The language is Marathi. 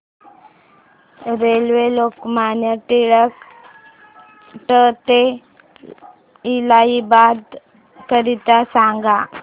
रेल्वे लोकमान्य टिळक ट ते इलाहाबाद करीता सांगा